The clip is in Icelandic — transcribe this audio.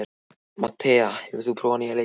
Mattea, hefur þú prófað nýja leikinn?